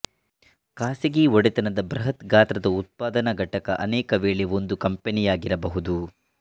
ಖಾಸಗಿ ಒಡೆತನದ ಬೃಹತ್ ಗಾತ್ರ ಉತ್ಪಾದನಾ ಘಟಕ ಅನೇಕ ವೇಳೆ ಒಂದು ಕಂಪನಿಯಾಗಿರಬಹುದು